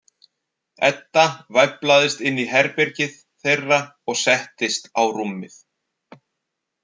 Edda væflaðist inn í herbergið þeirra og settist á rúmið.